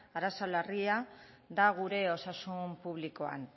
arazo larria da gure osasun publikoan